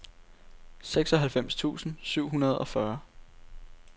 seksoghalvfems tusind syv hundrede og fyrre